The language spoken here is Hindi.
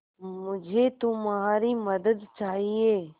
मुझे तुम्हारी मदद चाहिये